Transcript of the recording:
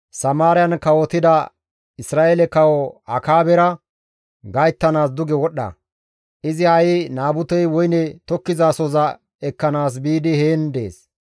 «Samaariyan kawotida Isra7eele Kawo Akaabera gayttanaas duge wodhdha. Izi ha7i Naabutey woyne tokkizasohoza ekkanaas biidi heen dees.